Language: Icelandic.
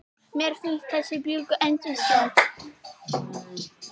Mér finnst þessi bjúgu yndisleg.